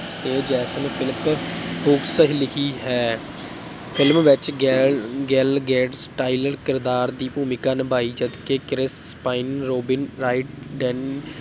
ਤੇ ਜੇਸਨ ਫੁਲਕ ਫੂਕਸ ਲਿਖੀ ਹੈ film ਵਿੱਚ ਗੈ ਗੈਲ ਕਿਰਦਾਰ ਦੀ ਭੂਮਿਕਾ ਨਿਭਾਈ, ਜਦਕਿ Chris Pine, Robin Wright, Dan